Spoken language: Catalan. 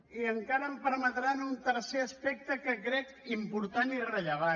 i encara permetinme un tercer aspecte que crec important i rellevant